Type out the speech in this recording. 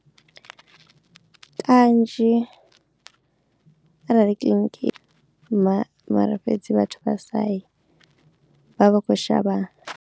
Kanzhi arali kiḽiniki ma mara fhedzi vhathu vha sa yi vha vha vha kho shavha.